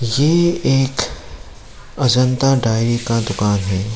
ये एक अजंता डायरी का दुकान है।